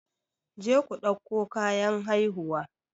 Je ku ɗauko kayan haihuwa!